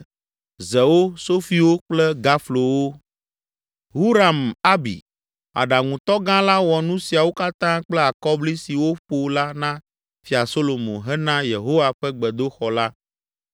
zewo, sofiwo kple gaflowo. Huram Abi, aɖaŋutɔ gã la wɔ nu siawo katã kple akɔbli si woƒo la na Fia Solomo hena Yehowa ƒe gbedoxɔ la.